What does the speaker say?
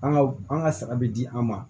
An ka an ka sara bɛ di an ma